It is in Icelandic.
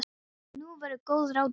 Og nú voru góð ráð dýr.